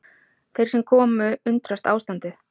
Þeir sem komu undrast ástandið